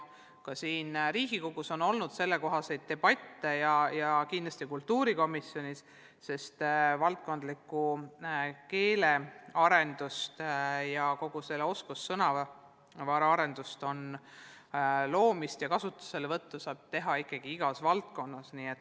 Ka siin Riigikogus on olnud sellekohaseid debatte ja neid on kindlasti olnud ka kultuurikomisjonis, sest valdkondliku keelearenduse ja kogu oskussõnavara arendamist-loomist ja kasutuselevõttu saab korraldada igas valdkonnas.